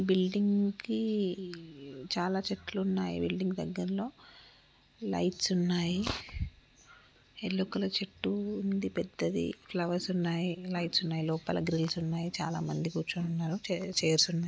Building కి చాలా చెట్లు ఉన్నాయి బిల్డింగ్ దగ్గర్లో లైట్స్ ఉన్నాయి. ఎల్లో కలర్ చెట్టు ఉంది. పెద్దది ఫ్లవర్స్ ఉన్నాయి. లైట్స్ ఉన్నాయి. లోపల గ్రిల్స్ ఉన్నాయి. చాలా మంది కూర్చొని ఉన్నారు. చైర్స్ ఉన్నాయి.